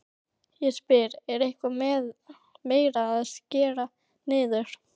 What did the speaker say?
Ég spyr, er eitthvað meira að skera niður?